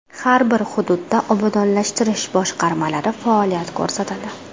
Har bir hududda obodonlashtirish boshqarmalari faoliyat ko‘rsatadi.